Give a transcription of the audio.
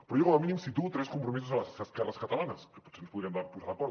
però jo com a mínim situo tres compromisos a les esquerres catalanes que potser ens podríem posar d’acord